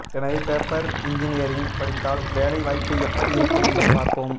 எனவே paper engineering படித்தால் வேலை வாய்ப்பு எப்படி இருக்கும் என்பதை பார்ப்போம்